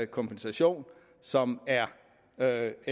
kompensation som er